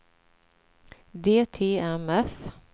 DTMF